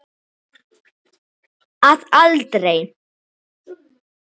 Að aldrei.